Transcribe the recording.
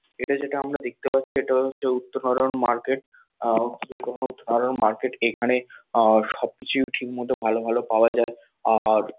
এটা যেটা আমরা দেখতে পাচ্ছি এটা হচ্ছে উত্তহরণ মার্কেট আহ উত্তহরণ মার্কেট এখানে আহ সবকিছুই ঠিকমতো ভালো ভালো পাওয়া যায় আর--